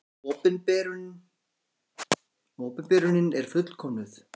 Opinberunin er fullkomnuð.